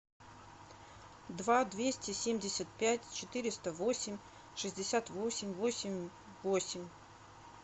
два двести семьдесят пять четыреста восемь шестьдесят восемь восемь восемь